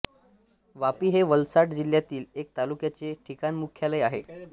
वापी हे वलसाड जिल्ह्यातील एक तालुक्याचे ठिकाणमुख्यालय आहे